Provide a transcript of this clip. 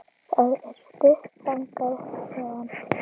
Það er stutt þangað héðan.